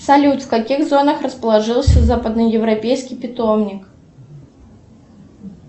салют в каких зонах расположился западно европейский питомник